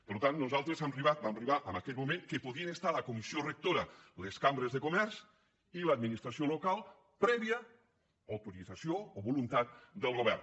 per tant nosaltres hem arribat vam arribar en aquell moment que podien estar a la comissió rectora les cambres de comerç i l’administració local prèvia autorització o voluntat del govern